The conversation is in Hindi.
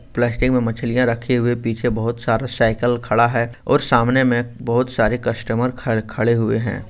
प्लास्टिक मे मछलिया रखी हुई है पीछे बहुत सारा साईकिल खडा है और सामने में बहुत सारे कस्टमर ख-खड़े हुए हें।